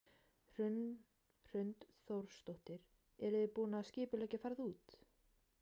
Hrund Þórsdóttir: Eruð þið búin að skipuleggja ferð út?